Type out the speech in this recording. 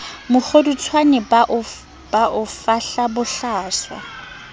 mokgodutswane ba o fahla bohlaswa